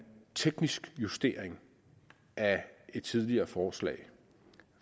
teknisk justering af et tidligere forslag